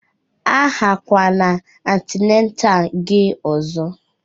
A ghakwana antinatal gị ọzọ!